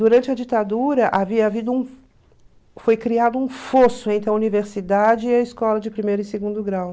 Durante a ditadura, foi criado um fosso entre a universidade e a escola de primeiro e segundo grau.